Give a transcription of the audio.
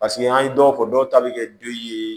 Paseke an ye dɔw fɔ dɔw ta bɛ kɛ den ye